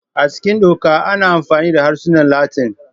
A cikin Doka, ana amfani da harsunan Latin.